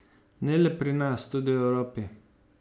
Ne le pri nas, tudi v Evropi.